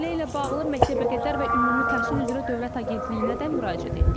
Məsələ ilə bağlı məktəbəqədər və ümumi təhsil üzrə Dövlət Agentliyinə də müraciət etdik.